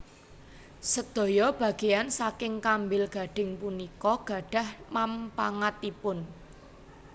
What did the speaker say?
Sedaya bageyan saking kambil gading punika gadhah manpangatipun